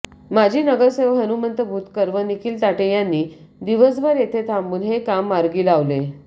माजी नगरसेवक हनुमंत भुतकर व निखिल ताठे यांनी दिवसभर येथे थांबून हे काम मार्गी लावले